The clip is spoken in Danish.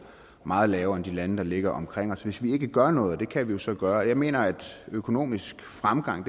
meget lavere end i de lande der ligger omkring os hvis vi ikke gør noget og det kan vi jo så gøre jeg mener at økonomisk fremgang